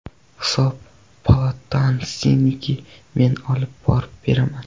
Hisob palatasiniki men olib borib beraman.